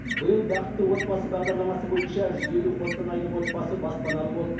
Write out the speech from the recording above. биыл бакытты отбасы бағдарламасы бойынша жүз елу қостанайлық отбасы баспаналы болды